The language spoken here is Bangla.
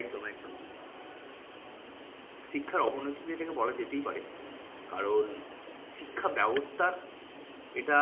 একদম একদম শিক্ষার অবনতি তো এটাকে বলা যেতেই পারে। কারণশিক্ষা ব্যবস্থার এটা